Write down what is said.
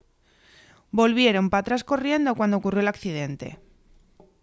volvieron p'atrás corriendo cuando ocurrió l’accidente